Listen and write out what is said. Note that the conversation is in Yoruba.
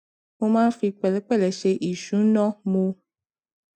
mo máa ń fi pẹlẹpẹlẹ ṣe ìṣúná mo